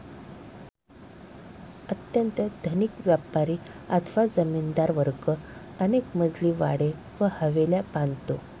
अत्यंत धनिक व्यापारी अथवा जमीनदार वर्ग अनेकमजली वाडे व हवेल्या बांधतो.